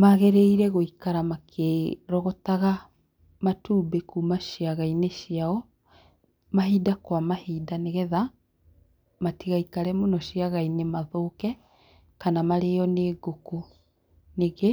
Magĩrĩire gũikara makĩrogotaga matumbĩ kuma ciaga-inĩ ciao mahinda kwa mahinda nĩgetha matigaikare mũno ciaga-inĩ mathũke kana marĩo nĩ ngũkũ, ningĩ